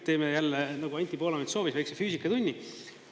Teeme jälle, nagu Anti Poolamets soovis, väikse füüsikatunni.